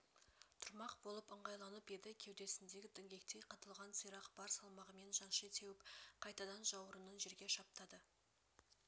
тұрмақ болып ыңғайланып еді кеудесіндегі діңгектей қадалған сирақ бар салмағымен жанши теуіп қайтадан жауырынын жерге шаптады